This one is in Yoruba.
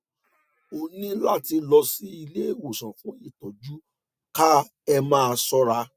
ó ó ní láti lọ sí ilé ìwòsàn fún ìtọjú dka ẹ máa ṣọra